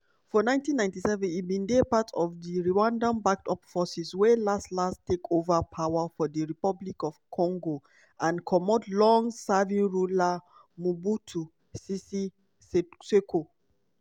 for 1997 e bin dey part of di rwandan-backed forces wey las-las take ova power for dr congo and comot long-serving ruler mobutu sese seko.